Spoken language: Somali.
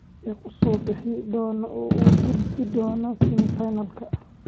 Yaa ku soo bixi doona oo u gudbi doona semi-finalka?